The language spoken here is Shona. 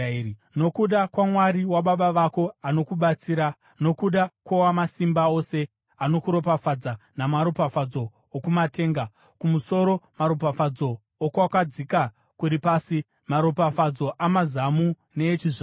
nokuda kwaMwari wababa vako anokubatsira, nokuda kwoWamasimba Ose anokuropafadza namaropafadzo okumatenga kumusoro, maropafadzo okwakadzika kuri pasi, maropafadzo amazamu neechizvaro.